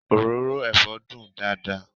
Òróró ẹ̀fọ́ dùn dáadáa